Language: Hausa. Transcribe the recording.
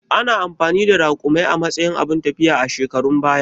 Ana amfani da Raƙumai a matsayin abun tafiya a shekarun baya